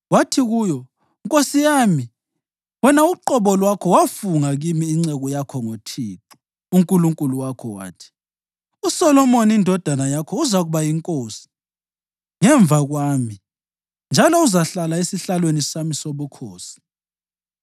Wathi kuyo, “nkosi yami, wena uqobo lwakho wafunga kimi inceku yakho ngoThixo uNkulunkulu wakho wathi: ‘USolomoni indodana yakho uzakuba yinkosi ngemva kwami, njalo uzahlala esihlalweni sami sobukhosi.’